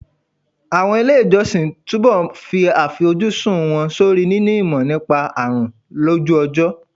Àwọn ilé ìwòsàn máa túbọ̀ fi àfojúsùn wọn sórí níní ìmọ̀ nípa àrùn lójú ọjọ́.